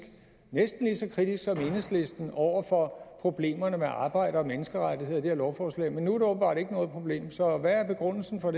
næsten lige så kritisk som enhedslisten over for problemerne med arbejde og menneskerettigheder i det her lovforslag men nu er det åbenbart ikke noget problem så hvad er begrundelsen for